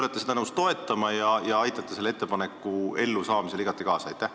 Kas te olete nõus seda toetama ja aitate selle ettepaneku elluviimisele igati kaasa?